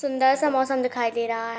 सुन्दर सा मौसम दिखाई दे रहा है।